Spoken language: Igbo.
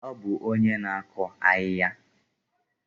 Ọ bụ onye na-akụ ahịhịa?